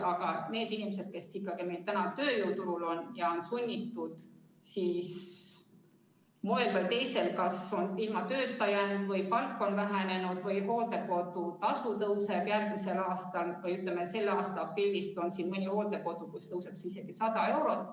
Aga nendel inimestel, kes on ikkagi olnud sunnitud tööturult eemale jääma, moel või teisel, nad on kas ilma tööta jäänud või on nende palk vähenenud, ei ole seda raha kuskilt võtta – hooldekodutasu tõuseb juba selle aasta aprillist mõnes kohas isegi 100 eurot.